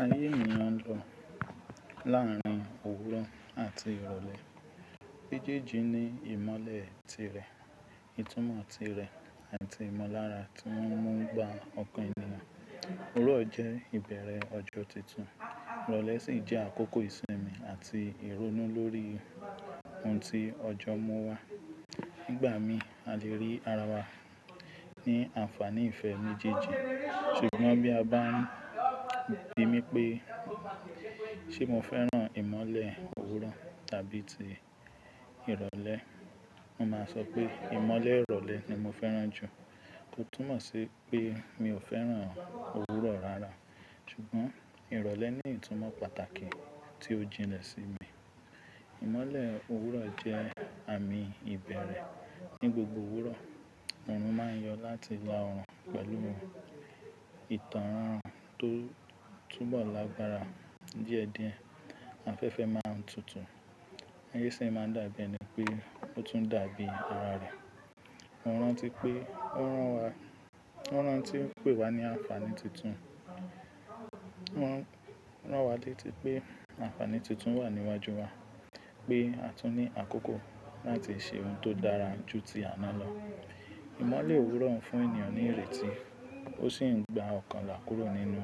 Ayé ènìyàn ń lọ láàárín òwúrọ̀ àti ìrọ̀lẹ́. Mẹ́jẹ́jì ní ìmọ́lẹ̀ tirẹ̀, ìtúmọ̀ tirẹ̀ àti ìmọ̀lára tí wọ́n ń bà ọkàn ènìyàn. Òwúrọ̀ jẹ́ ìbẹ̀rẹ̀ ọjọ́ titun, ìrọ̀lẹ́ sì jẹ́ àkókò ìsinmi àti ìrónú lórí ohun tí ọjọ́ mú wá. Nígbà mi a le rí ara wa ní àǹfààní ìfẹ́ méjèèjì, ṣùgbọ́n bí a bá ń bi mí pé ṣé mo fẹ́ràn ìmọ́lẹ̀ òwúrọ̀ tàbí ti ìrọ̀lẹ́, mo máa sọ pé ìmọ́lẹ̀ ìrọ̀lẹ́ ni mo fẹ́ràn jù. Ko túmọ̀ sí pé mi ò fẹ́ràn òwúrọ̀ rara, ṣùgbọ́n ìrọ̀lẹ́ ní ìtúmọ̀ pàtàkì tí ó jinlẹ̀ sí mi. Ìmọ́lẹ̀ òwúrọ̀ jẹ́ àmì ìbẹ̀rẹ̀. Ni gbogbo òwúrọ̀, òòrùn máa ń yọ láti ila ọrùn pẹ̀lú wọn. Ìtàn ran-an ran tó túbọ̀ lágbára díẹ̀díẹ̀, afẹ́fẹ́ máa ń tutù. Ayéṣin máa ń dàbí ẹni pé ó tún dàbí ara rẹ̀. Mọ́ rántí pé ó rán wa, wọ́n rántí pé wá ní àǹfààní tuntun. Wọ́n rán wa létí pé àǹfààní tuntun wà níwájú wa, pé a tún ní àkókò láti ṣe ohun tó dára ju ti àná lọ. Ìmọ́lẹ̀ òwúrọ̀ ń fún ènìyàn ní ìrètí, ó sì ń gba ọkàn là kúrò nínú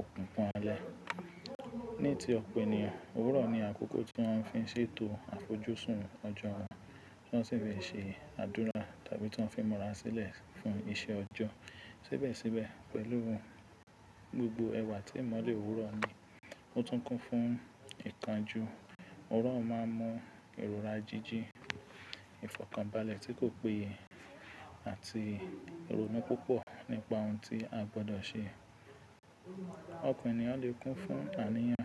òkunkun alẹ́. Ní ti ọpọ̀ ènìyàn, òwúrọ̀ ni àkókò tí wọ́n fi ń ṣètò àfojúsùn ọjọ́ wọn, to-ọ́n sì fi n ṣe àdúrà tàbí tí wọ́n fi mọra sílẹ̀ fún iṣẹ́ ọjọ́. Síbẹ̀síbẹ̀ pẹ̀lú òun gbogbo ẹwà tí ìmọ́lẹ̀ òwúrọ̀ ní, ó tún kún fún ìkánjú. Òwúrọ̀ máa ń mú ìrora jíjì, ìfọ̀kànbalẹ̀ tí kò péye àti ìrónú púpọ̀ nípa ohun tí a gbọdọ̀ ṣe. Ọkàn ènìyàn le kún fún àníyàn.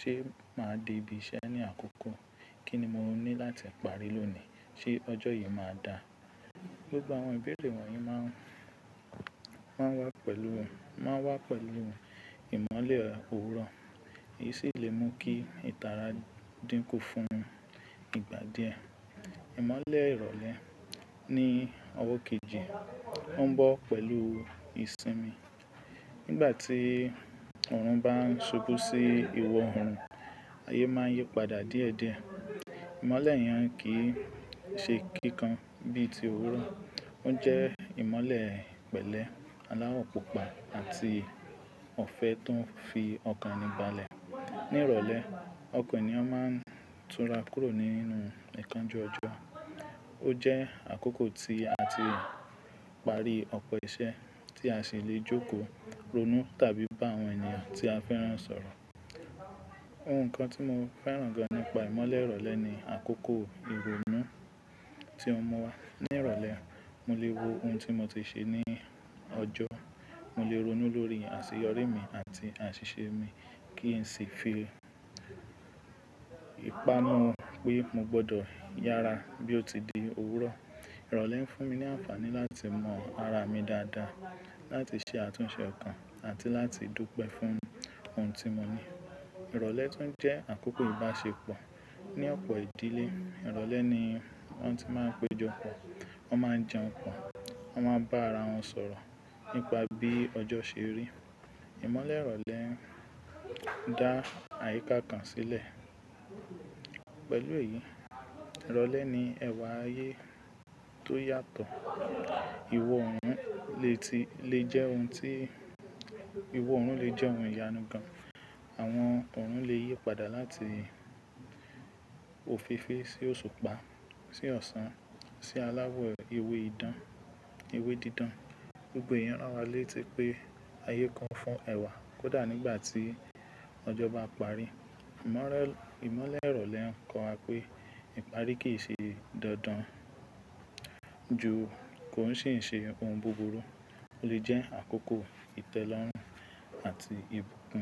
Ṣé màá di ibi iṣẹ́ ní àkókò? Kí ni mo ní láti parí lónìí? Ṣé ọjọ́ yìí máa dà? Gbogbo àwọn ìbéèrè wọ̀nyí má ń, má ń wá pẹ̀lú wọn, má ń wá pẹ̀lú wọn ìmọ́lẹ̀ òwúrọ̀. Èyí sì lè mú kí ìtara dínkù fún ìgbà díẹ̀. Ìmọ́lẹ̀ ìrọ̀lẹ́ ní ọwọ́ kejì, ó ń bọ́ pẹ̀lú ìsinmi. Nígbà tí òòrùn bá ń ṣubú sí ìwọ ọrùn, ayé máa ń yípadà díẹ̀díẹ̀. Ìmọ́lẹ̀ yẹn kì í ṣe kíkan bíi ti òwúrọ̀. Ó jẹ́ ìmọ́lẹ̀ pẹ̀lẹ́, aláwọ̀ púpà àti ọ̀fẹ́ tó ń fi ọkàn níbalẹ̀. Ní ìrọ̀lẹ́, ọkàn ènìyàn máa ń túnra kúrò nínú ìkánjú ọjọ́. Ó jẹ́ àkókò tí a ti parí ọ̀pọ̀ iṣẹ́ tí a sì lè jókòó ronú tàbí bá àwọn ènìyàn tí a fẹ́ràn sọ̀rọ̀. Ohun kan tí mo fẹ́ràn gan nipa ìmọ́lẹ̀ ìrọ̀lẹ́ ni àkókò ìrónú tí ó mú wá. Ní ìrọ̀lẹ́, mo lè wo ohun tí mo ti ṣe ní ọjọ́. Mo lè ronú lórí àṣeyọrí mi àti àṣìṣe mi kí n sì fi ìpánú pé mo gbọdọ̀ yára bí ó ti di òwúrọ̀. Ìrọ̀lẹ́ ń fún mi ní àǹfààní láti mọ ara mi dáadáa, láti ṣe àtúnṣe okan àti láti dupe fún ohun tí mo ní. Ìrọ̀lẹ́ tún jẹ́ àkókò ìbáṣepọ̀ ní ọ̀pọ̀ ìdílé. Ìrọ̀lẹ́ ni wọ́n ti máa ń péjọ pọ̀, wọ́n máa ń jẹun pọ̀, wọ́n máa ń bá ara wọn sọ̀rọ̀ nípa bí ọjọ́ ṣe rí. Ìmọ́lẹ̀ ìrọ̀lẹ́ ń dá àyíká kan sílẹ̀. Pẹ̀lú èyí, ìrọ̀lẹ́ ní ẹ̀wà ayé tó yàtọ̀. Iwọ oorun lè ti, lè jẹ́ ohun tí, ìwọ oorun lè jẹ́ ohun ìyanu gan. Àwọn òòrùn lè yípadà láti òféèfé sí òṣùpá sí ọ̀sán sí aláwọ̀ ewé idán, ewé dídán. Gbogbo èyí rán wa létí pé ayé kún fún ẹ̀wà kódà nígbà tí ọjọ́ bá parí. Ìmọ́rẹ́, ìmọ́lẹ̀ ìrọ̀lẹ́ ń kọ́ wa pé ìparí kì í ṣe dandan ju kò ń sì ń ṣe ohun búburú. Ó lè jẹ́ àkókò ìtẹ́lọ́rùn àti ìbùkún.